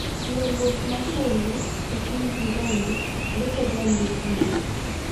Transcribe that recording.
Ywaruok mar tong'e e kind jirande deko ga ndikruok